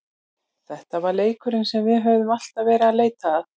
Þetta var leikurinn sem við höfðum alltaf verið að leita að.